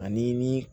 Ani ni